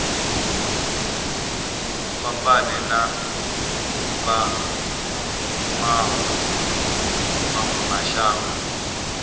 fhambane na vha mawe mashango